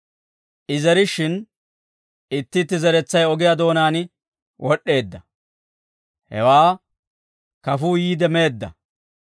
I zerishshin, itti itti zeretsay ogiyaa doonaan wod'd'eedda; hewaa kafuu yiide meedda.